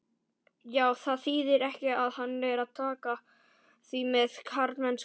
Já, það þýðir ekki annað en taka því með karlmennsku.